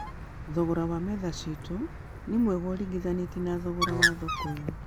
thogora wa metha citũ nĩ njega ũringithanitie na thogora ya thoko-inĩ